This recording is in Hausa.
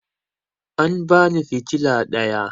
An bani fitala ɗaya